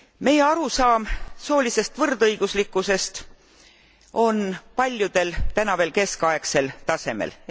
Meie arusaam soolisest võrdõiguslikkusest on paljudel täna veel keskaegsel tasemel.